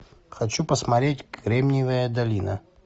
хочу посмотреть кремниевая долина